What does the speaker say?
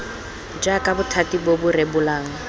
jaaka bothati bo bo rebolang